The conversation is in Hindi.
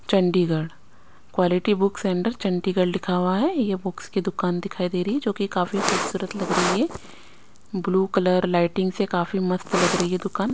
Chandigarh quality books centre Chandigarh लिखा हुआ है ये बुक्स की दुकान दिखाई दे री ए जो कि काफी खूबसूरत लाग रही है ब्लू कलर लाइटिंग से काफी मस्त लाग रही है दूकान--